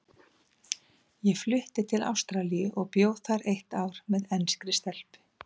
Ég flutti til Ástralíu og bjó þar eitt ár með enskri stelpu.